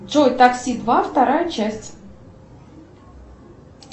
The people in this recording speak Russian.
джой такси два вторая часть